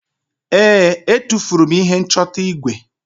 ee, e tufuru m ihe nchọta igwe